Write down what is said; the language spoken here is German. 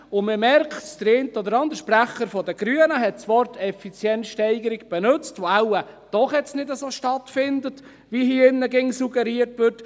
Man merkt es, der eine oder andere Sprecher der Grünen hat das Wort «Effizienzsteigerung» benützt, die wohl jetzt doch nicht so stattfindet, wie hier immer suggeriert wird.